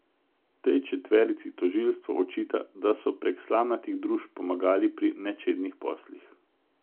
Tej četverici tožilstvo očita, da so prek slamnatih družb pomagali pri nečednih poslih.